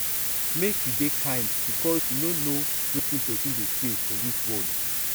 make you dey kind because you no know wetin person dey face for dis world